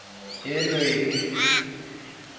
yelweti